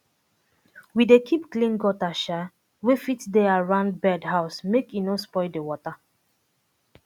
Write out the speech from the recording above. we dey keep clean gutter um wey um dey around bird house make e no spoil the water